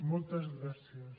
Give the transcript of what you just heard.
moltes gràcies